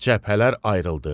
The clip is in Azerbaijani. cəbhələr ayrıldı.